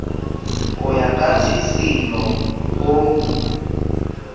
ho ya ka tshisinyo ho